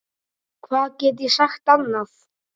Hvað get ég sagt annað?